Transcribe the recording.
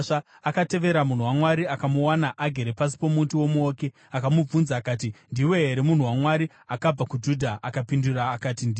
Akatevera munhu waMwari. Akamuwana agere pasi pomuti womuouki akamubvunza akati, “Ndiwe here munhu waMwari akabva kuJudha?” Akapindura akati, “Ndini.”